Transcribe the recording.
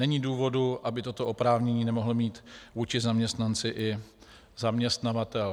Není důvodu, aby toto oprávnění nemohl mít vůči zaměstnanci i zaměstnavatel.